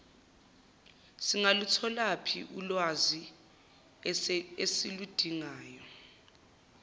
singalutholaphi lolulwazi esiludingayo